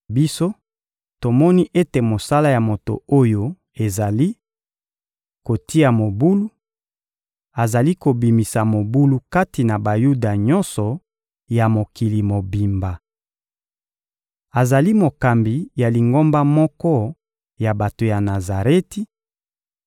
Biso, tomoni ete mosala ya moto oyo ezali: kotia mobulu; azali kobimisa mobulu kati na Bayuda nyonso ya mokili mobimba. Azali mokambi ya lingomba moko ya bato ya Nazareti,